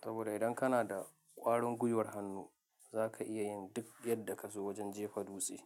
Saboda idan kana da ƙwarin gwiwar hannu za ka iya yin duk yadda ka so wajen jefa dutse.